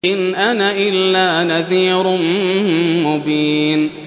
إِنْ أَنَا إِلَّا نَذِيرٌ مُّبِينٌ